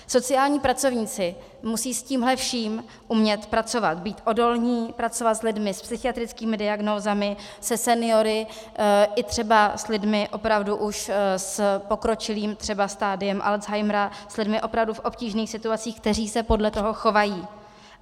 Sociální pracovníci musí s tímhle vším umět pracovat, být odolní, pracovat s lidmi s psychiatrickými diagnózami, se seniory, i třeba s lidmi opravdu už s pokročilým třeba stadiem Alzheimera, s lidmi opravdu v obtížných situacích, kteří se podle toho chovají.